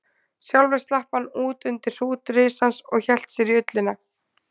Sjálfur slapp hann út undir hrút risans og hélt sér í ullina.